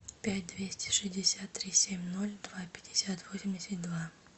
пять двести шестьдесят три семь ноль два пятьдесят восемьдесят два